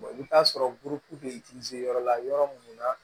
i bɛ taa sɔrɔ gurupu bɛ yɔrɔ la yɔrɔ mun na.